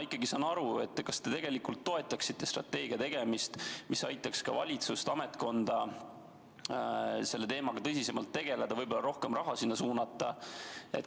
Kas ma saan õigesti aru, et te toetaksite strateegiat, mis aitaks ka valitsusel, ametkonnal selle teemaga tõsisemalt tegeleda, võib-olla rohkem raha sinna suunata?